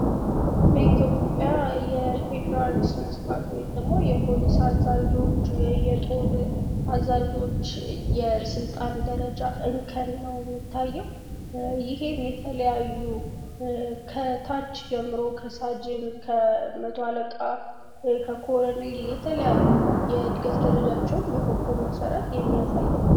በኢትዮጵያ የፌዴራል ስለስርዓት ወይም ደግሞ የ ፖሊስ አዛዦች ፣ የየጦር አዛዦች የስልጣን ደርጃ እርከን ነው የሚታየው። ይሄም የተለያዩ ከታች ጀምሮ ከሳጅን፣ መቶ አለቃ፣ ከኮረኔል የተለያዩ የእድገት ደረጃዎቻቸውን በኮኮብ መሰረት የሚያሳይ ነው።